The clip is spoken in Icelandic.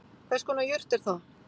Hvers konar jurt er það